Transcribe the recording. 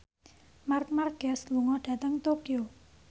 Marc Marquez lunga dhateng Tokyo